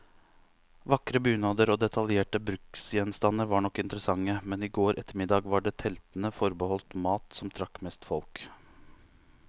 Vakre bunader og detaljerte bruksgjenstander var nok interessante, men i går ettermiddag var det teltene forbeholdt mat, som trakk mest folk.